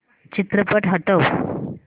चित्रपट हटव